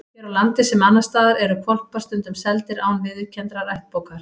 Hér á landi, sem annars staðar, eru hvolpar stundum seldir án viðurkenndrar ættbókar.